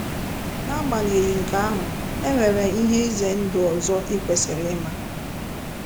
* N’agbanyeghị nke ahụ, e nwere ihe ize ndụ ọzọ i kwesịrị ịma.